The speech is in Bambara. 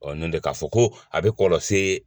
Ɔ n'o tɛ k'a fɔ ko a bɛ kɔlɔsi